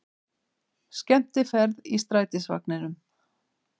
Skemmtiferð í strætisvagninum